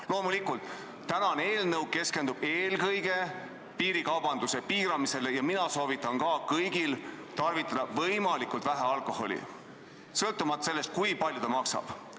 Aga loomulikult täna arutatav eelnõu keskendub eelkõige piirikaubanduse piiramisele ja minagi soovitan kõigil tarvitada võimalikult vähe alkoholi, sõltumata sellest, kui palju see maksab.